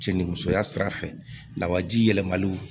Cɛ ni musoya sira fɛ lawaji yɛlɛmali